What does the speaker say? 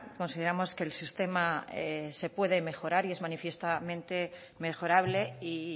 consideramos que el sistema se puede mejorar y es manifiestamente mejorable y